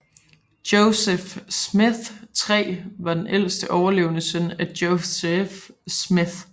Joseph Smith III var den ældste overlevende søn af Joseph Smith